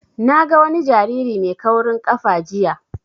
Na ga wani jariri mai kaurin ƙafa jiya